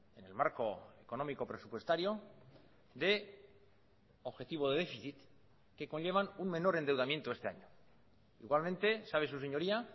en el marco económico presupuestario deobjetivo de déficit que conllevan un menor endeudamiento este año igualmente sabe su señoría